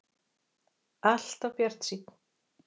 Alltaf bjartsýnn!